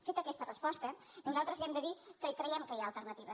feta aquesta resposta nosaltres li hem de dir que creiem que hi ha alternatives